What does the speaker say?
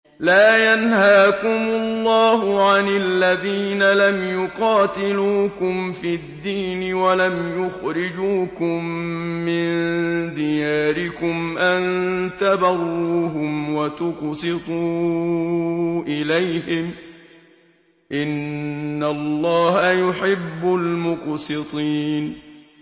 لَّا يَنْهَاكُمُ اللَّهُ عَنِ الَّذِينَ لَمْ يُقَاتِلُوكُمْ فِي الدِّينِ وَلَمْ يُخْرِجُوكُم مِّن دِيَارِكُمْ أَن تَبَرُّوهُمْ وَتُقْسِطُوا إِلَيْهِمْ ۚ إِنَّ اللَّهَ يُحِبُّ الْمُقْسِطِينَ